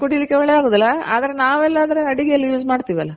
ಹಾಗೆ ಕುಡಿಲಿಕ್ ಆಗೋದಿಲ್ಲ ಆದ್ರೆ ನಾವೆಲ್ಲಾ ಆದ್ರೆ ಅಡಿಗೆಲಿ use ಮಾಡ್ತಿವಲ್ಲ.